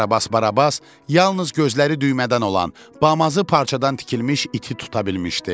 Karabas Barabas yalnız gözləri düymədən olan, bamazı parçadan tikilmiş iti tuta bilmişdi.